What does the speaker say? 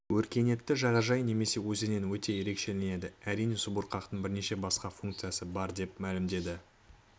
өркениетті жағажай немесе өзеннен өте ерекшеленеді әрине субұрқақтың бірнеше басқа функциясы бар деп мәлімдеді